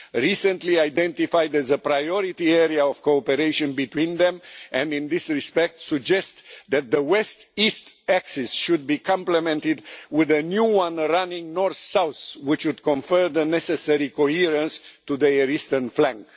recently identified as a priority area of cooperation between them, and in this respect suggest that the west east axis should be complemented with a new one running north south, which would confer the necessary coherence to their eastern flank.